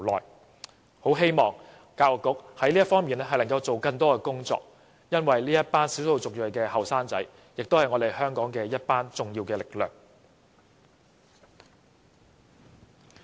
所以，我很希望教育局在這方面多做工作，因為這些少數族裔青年人也是香港社會的一股重要力量。